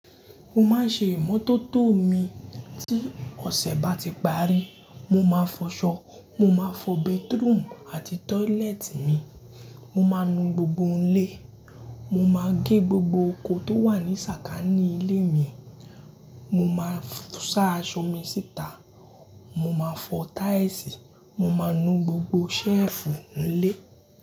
Mo máa ń ṣe ìmọ́tótó mi. Tí ọ̀sẹ̀ bá ti parí, mo máa fọṣọ. Mo máa fọ bathroom àti toilet mi. Mo máa nu gbogbo ilé. Mo máa gé gbogbo oko tó wà ní sàkání ilé mi. Mo máa sa aṣọ mi síta. Mo máa fọ tiles. Mo máa nu gbogbo ṣẹ́fù ilé.